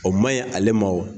O ma ye ale ma wo